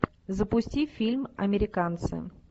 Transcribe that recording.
запусти фильм американцы